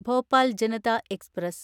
Bhopal Janata express